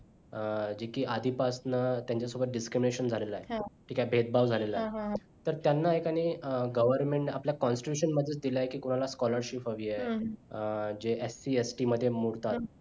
जे की आधीपासंन त्यांच्यासोबत disconnection झालेलं हाय ते काय भेदभाव झालेली आहे तर त्यांना एकानी government आपल्या constitution मधलं दिला आहे कि कोणाला scholarship हवी आहे जे SCST मध्ये मोडतात